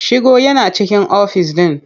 Shigo yana cikin ofis ɗin.